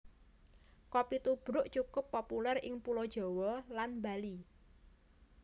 Kopi tubruk cukup populèr ing Pulo Jawa lan Bali